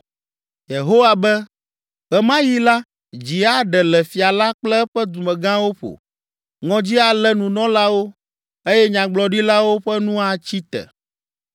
Yehowa be, “Ɣe ma ɣi la dzi aɖe le fia la kple eƒe dumegãwo ƒo, ŋɔdzi alé Nunɔlawo eye Nyagblɔɖilawo ƒe nu atsi te.”